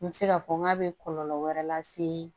N bɛ se k'a fɔ n k'a bɛ kɔlɔlɔ wɛrɛ lase